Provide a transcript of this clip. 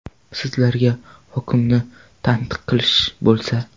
Sizlarga hokimni tanqid qilish bo‘lsa.